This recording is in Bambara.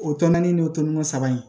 O tɔn naani ni o tɔrɔŋɛ saba in